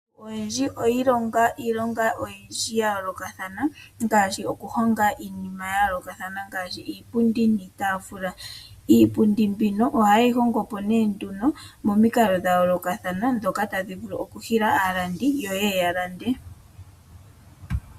Oyendji oyi ilonga iilonga oyindji ya yoolokathana ngaashi okuhonga iinima ya yoolokathana ngaashi iipundi niitaafula. Iipundi mbino oha ye yi hongo po nee nduno momikalo dha yoolokathana ndhoka tadhi vulu okuhila aalandi yo ye ye yalande.